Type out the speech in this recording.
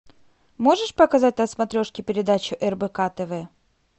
можешь показать на смотрешке передачу рбк тв